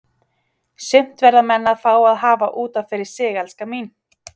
Sumt verða menn að fá að hafa út af fyrir sig, elskan mín.